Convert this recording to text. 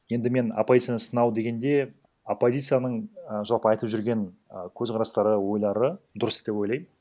енді мен оппозицияны сынау дегенде оппозицияның і жалпы айтып жүрген і көзқарастары ойлары дұрыс деп ойлаймын